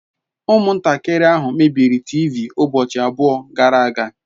Umuntakiri ahu mebiri teevee ubochi abuo gara aga